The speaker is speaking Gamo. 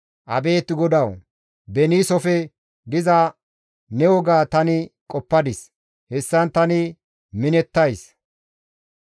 Abeet GODAWU! beniisofe diza ne woga tani qoppadis; hessan tani minettays.